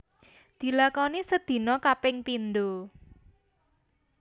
Dilakoni sedina kaping pindo